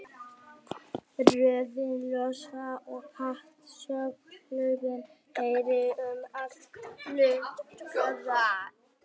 Rörið losnaði og hátt soghljóðið heyrðist um allt flughlaðið.